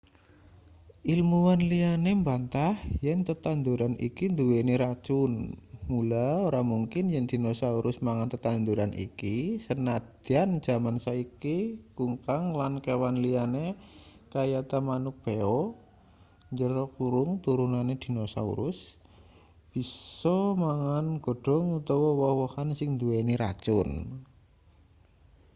ilmuwan liyane mbantah yen tetanduran iki nduweni racun mula ora mungkin yen dinosaurus mangan tetanduran iki sanadyan jaman saiki kungkang lan kewan liyane kayata manuk beo turunane dinosaurus bisa mangan godhong utawa woh-wohan sing nduweni racun